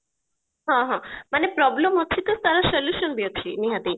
ହଁ ହଁ ମାନେ problem ଅଛି ତ ତାର solution ବି ଅଛି ନିହାତି